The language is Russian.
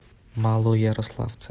малоярославце